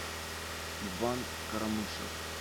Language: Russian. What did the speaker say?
иван карамышев